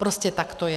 Prostě tak to je.